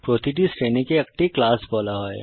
প্রতিটি শ্রেণীকে একটি ক্লাস বলা হয়